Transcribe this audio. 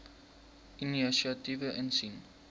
inisiatiewe insien